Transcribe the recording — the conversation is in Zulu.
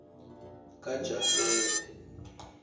kajafete